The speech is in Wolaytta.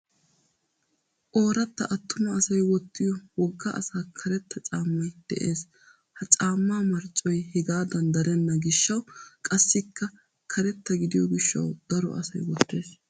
Ooratta attuma asay wottiyo wogga asaa karetta caammay des. Ha caammaa marccoy hegaadan darenna gishshawu qassikka karetta gidiyo gishshawu daro asay wottes.